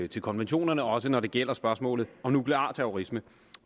til konventionerne også når det gælder spørgsmålet om nuklear terrorisme